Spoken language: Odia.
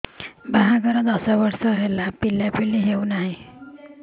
ବାହାଘର ଦଶ ବର୍ଷ ହେଲା ପିଲାପିଲି ହଉନାହି